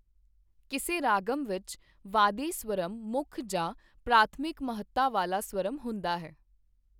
ਕਿਸੇ ਰਾਗਮ ਵਿੱਚ ਵਾਦੀ ਸ੍ਵਰਮ ਮੁੱਖ ਜਾਂ ਪ੍ਰਾਥਮਿਕ ਮਹੱਤਾ ਵਾਲਾ ਸ੍ਵਰਮ ਹੁੰਦਾ ਹੈ।